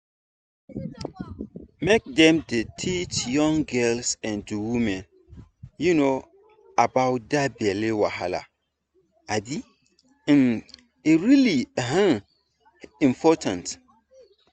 make dem dey teach young girls and women um about that belly wahala um um e really um important